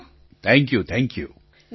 પ્રધાનમંત્રી thank you thank you